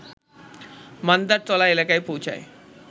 মান্দারতলা এলাকায় পৌঁছায়